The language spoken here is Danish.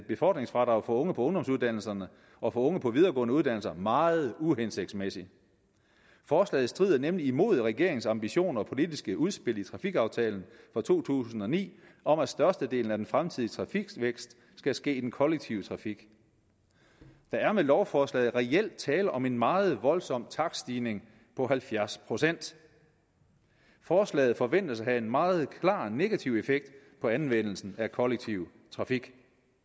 befordringsfradrag for unge på ungdomsuddannelserne og for unge på videregående uddannelser meget uhensigtsmæssig forslaget strider nemlig imod regeringens ambitioner og politiske udspil i trafikaftalen fra to tusind og ni om at størstedelen af den fremtidige trafikvækst skal ske i den kollektive trafik der er med lovforslaget reelt tale om en meget voldsom takststigning på halvfjerds procent forslaget forventes at have en meget klar negativ effekt på anvendelsen af kollektiv trafik